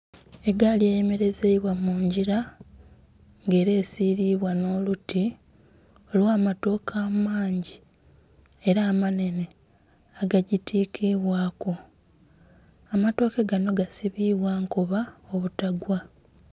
Egaali eyemelezeibwa mu ngila nga ela esiilibwa nho luti olwa amatooke amangi ela amanhene agagitikiibwaaku. Amatooke ganho gasibiibwa nkoba obutagwa.